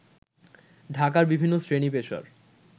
ঢাকার বিভিন্ন শ্রেনী-পেশার